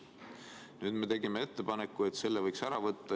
Nüüd me tegime ettepaneku, et selle võiks ära võtta.